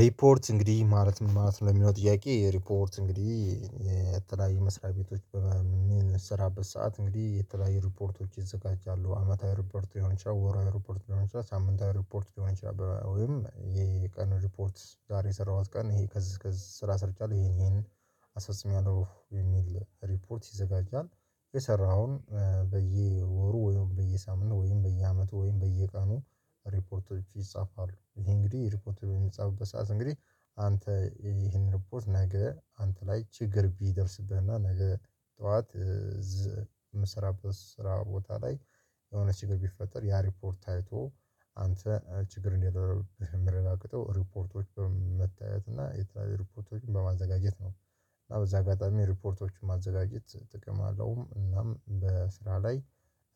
ሪፖርት እንግዲህ ማለት ምን ማለት ነው? የሚለው ጥያቄ ሪፖርት እንግዲህ የተለያየ መስሪያ ቤቶች በሚሰራበት ሰዓት እንግዲህ የተለያዩ ሪፖርቶች ይዘጋጃሉ። አመታዊ ሪፖርት ይሆን ይችላል ወራዊ ሪፖርት ይሆን ይችላል ሳምንታት ሪፖርት ሊሆን ይችላል ወይም የቀን ሪፖርት ዛሬ የሰራሁት ቀን ይሄ ከዚህ ከዚህ ስራ ሰርጫቻለሁ ይሄን ይሄን አስፈጽሚያለሁ የሚል ሪፖርት ይዘጋጃል። የሰራኸውን በየወሩ ወይም በየሳምንት ወይም በየአመቱ ወይም በየቀኑ ሪፖርቶች ይፃፋሉ። ይሄ እንግዲህ ሪፖርት በሚፃፍበት ሰዓት እንግዲህ አንተ ይሄን ሪፖርት ነገ አንተ ላይ ችግር ቢደርስብህና ነገ ጠዋት የምሰራበት ስራ ቦታ ላይ የሆነ ችግር ቢፈጠር ያ ሪፖርት ታይቶ አንተ ችግር እንዳይኖርብህ የሚረጋገጠው ሪፖርቶች በመታየት እና የተለያየ ሪፖርቶችን በማዘጋጀት ነው። እና በዚህ አጋጣሚ ሪፖርቶችን ማዘጋጀት ጥቅም አለውም። እናም በስራ ላይ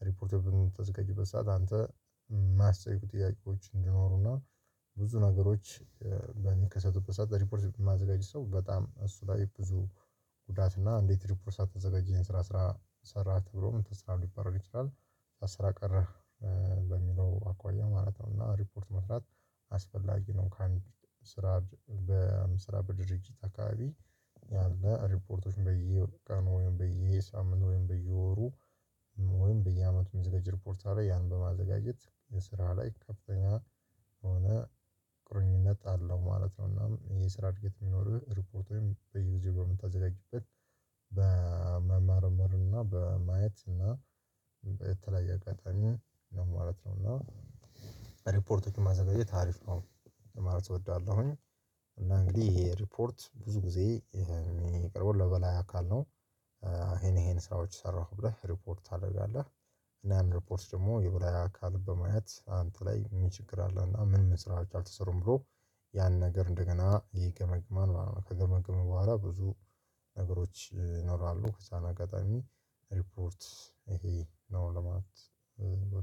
ሪፖርቱን በምታዘጋጅበት ሰዓት አንተ ማስታወቂያዎች እንዲኖሩና ብዙ ነገሮች በሚከሰቱበት ሰዓት ሪፖርት የማዘጋጅ ሰው በጣም እሱ ላይ ብዙ ጉዳት እና እንዴት ሪፖርት ሳታዘጋጅ ይሄን ስራ ስራ ሰራህ ተብሎም ተስራ ሊባረር ይችላል። ስራ ቀረህ በሚለው አኳያ ማለት ነው። እና ሪፖርት መስራት አስፈላጊ ነው። ከአንድ ስራ በስራ በድርጅት አካባቢ ያለ ሪፖርቶችን በየ ቀኑ ወይም በየሳምንቱ ወይም በየወሩ ወይም በየአመቱ ሚዘጋጅ ሪፖርት አለ። ያን በማዘጋጀት የስራ ላይ ከፍተኛ የሆነ ቁርኝነት አለው ማለት ነው። እናም ይሄ ስራ እድገት የሚኖርህ ሪፖርት ወይም በየጊዜው በምታዘጋጅበት በመመርመር እና በማየት እና በተለያየ አጋጣሚ ለማለት ነው። እና ሪፖርቶችን ማዘጋጅት አሪፍ ነው። ለማለት እወዳለሁኝ። እና እንግዲህ ይሄ ሪፖርት ብዙ ጊዜ የሚቀርበው ለበላይ አካል ነው። ይሄን ይሄን ስራዎች ሰራሁ ብለህ ሪፖርት ታደርጋለህ። እና ያን ሪፖርት ደግሞ የብላይ አካል በማየት አንተ ላይ ምን ችግር አለውና ምንምን ስራዎች አልተሰሩም ብሎ ያን ነገር እንደገና ይገመግመማል ማለት ነው። ከገመግመ በኋላ ብዙ ነገሮች ይኖራሉ ከዛን አጋጣሚ ሪፖርት ይሄ ነው ለማለት።